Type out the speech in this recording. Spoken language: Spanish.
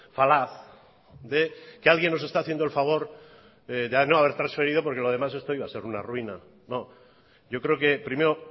falaz de que alguien nos está haciendo el favor de no haber transferido porque lo demás esto iba a ser una ruina no yo creo que primero